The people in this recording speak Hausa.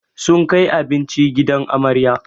Sun kai abinci gidan amarya